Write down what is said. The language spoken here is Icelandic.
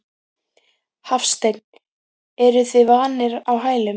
Hafsteinn: Eruð þið vanir á hælum?